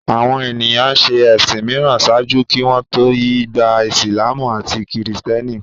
Àwọn ènìyàn ń ṣe ẹ̀sìn mìíràn ṣáájú kí wọ́n tó yí gba Ìsìlámù àti Kìrìtẹ́nì